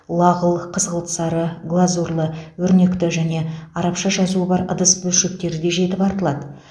лағыл қызғылт сары глазурлы өрнекті және арабша жазуы бар ыдыс бөлшектері де жетіп артылады